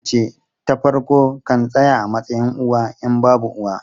Yar mace ta farko kan tsaya a matsayin uwa in babu uwa.